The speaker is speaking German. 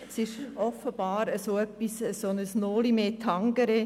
Es ist offenbar ein «Noli me tangere».